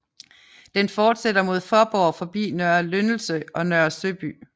Den fortsætter mod Faaborg forbi Nørre Lyndelse og Nørre Søby